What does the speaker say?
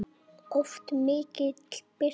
Oft mikil birta.